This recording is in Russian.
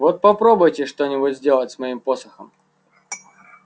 вот попробуйте что-нибудь сделать с моим посохом